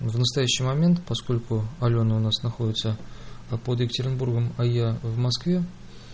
в настоящий момент поскольку алёна у нас находится под екатеринбургом в москве